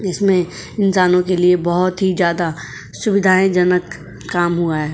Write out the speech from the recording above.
इसमे इंसानों के लिए बहुत ही जादा सुविधायेजनक काम हुआ है।